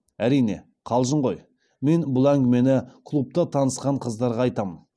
әрине қалжың ғой мен бұл әңгімені клубта танысқан қыздарға айтамын